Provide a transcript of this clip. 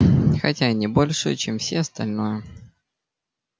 хотя и не больше чем все остальное